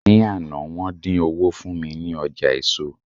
ní Ana, won din owó fún mi ní ọjà eso